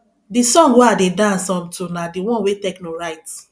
the song wey i dey dance um to na the one wey tekno write